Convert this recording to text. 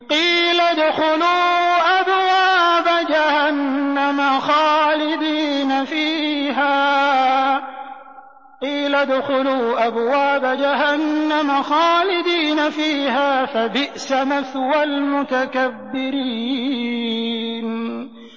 قِيلَ ادْخُلُوا أَبْوَابَ جَهَنَّمَ خَالِدِينَ فِيهَا ۖ فَبِئْسَ مَثْوَى الْمُتَكَبِّرِينَ